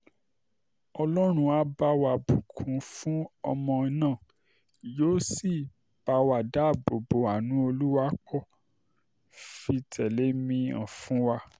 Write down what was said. ọlọ́run á bá wa um bù kún fún ọmọ náà yóò sì bá wa dáàbò bo ánú olùwapo um fìtìlẹ́mìhàn fún wa